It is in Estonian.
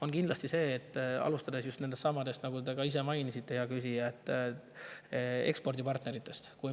on kindlasti see, nagu te ka ise mainisite, hea küsija: just needsamad ekspordipartnerid.